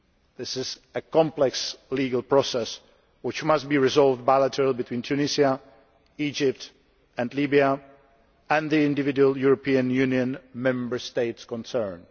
This is a complex legal process which must be resolved bilaterally between Tunisia, Egypt and Libya and the individual European Union Member States concerned.